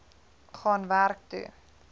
gaan werk toe